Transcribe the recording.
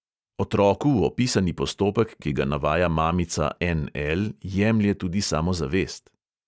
Otroku opisani postopek, ki ga navaja mamica N L, jemlje tudi samozavest.